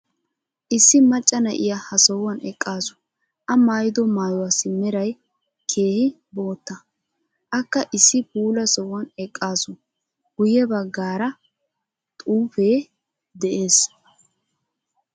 issi macca na'iya ha sohuwan eqasu. a maayido maayuwassi meray keehi bootta. akka issi puula sohuwan eqaasu. guye bagaara xuufee de'ees.